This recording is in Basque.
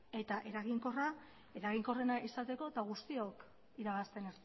eta eraginkorrena izateko eta guztiok irabazten